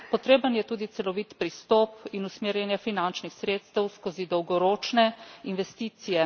Potreben je tudi celovit pristop in usmerjanje finančnih sredstev skozi dolgoročne investicije.